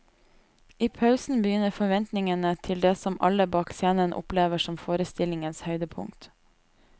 I pausen begynner forventningene til det som alle bak scenen opplever som forestillingens høydepunkt.